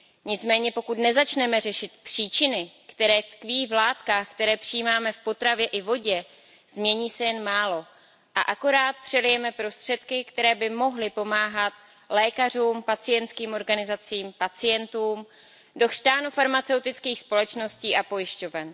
Nicméně pokud nezačneme řešit příčiny, které tkví v látkách, které přijímáme v potravě i vodě, změní se jen málo a akorát přelijeme prostředky, které by mohly pomáhat lékařům, pacientským organizacím, pacientům, do chřtánu farmaceutických společností a pojišťoven.